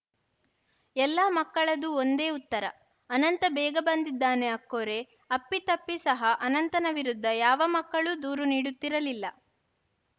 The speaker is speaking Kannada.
ಎಲ್ಲ ಮಕ್ಕಳದೂ ಒಂದೇ ಉತ್ತರ ಅನಂತ ಬೇಗ ಬಂದಿದ್ದಾನೆ ಅಕ್ಕೋರೆ ಅಪ್ಪಿತಪ್ಪಿ ಸಹ ಅನಂತನ ವಿರುದ್ಧ ಯಾವ ಮಕ್ಕಳೂ ದೂರು ನೀಡುತ್ತಿರಲಿಲ್ಲ